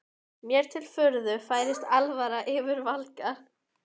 Mér til furðu færist alvara yfir Valgarð.